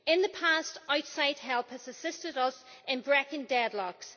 In the past, outside help has assisted us in breaking deadlocks.